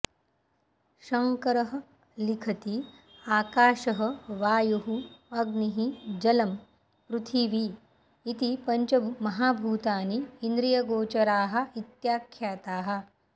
शङ्करः लिखति आकाशः वायुः अग्निः जलम् पृथिवी इति पञ्चमहाभूतानि इन्द्रियगोचराः इत्याख्याताः